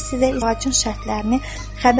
Əmir sizə izahın şərtlərini xəbər verər.